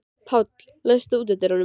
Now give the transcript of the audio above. Páll, læstu útidyrunum.